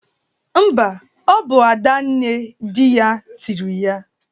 Mba, ọ bụ Ada nne dị ya tịrị ya.